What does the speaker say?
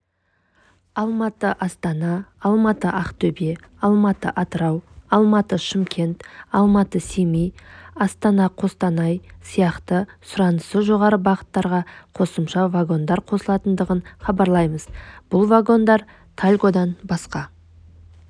алматы-астана алматы-ақтөбе алматы-атырау алматы-шымкент алматы-семей астанақостанай сияқты сұранысы жоғары бағыттарға қосымша вагондар қосылатындығын хабарлаймыз бұл вагондар тальгодан басқа